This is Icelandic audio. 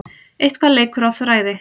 Eitthvað leikur á þræði